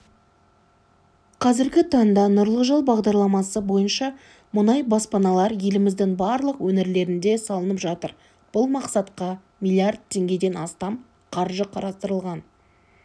қазіргі таңда нұрлы жол бағдарламасы бойынша мұндай баспаналар еліміздің барлық өңірлерінде салынып жатыр бұл мақсатқа млрд теңгеден астам қаржы қарастырылған